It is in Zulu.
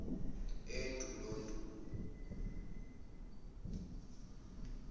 endulondulo